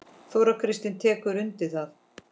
Þóra Kristín tekur undir það.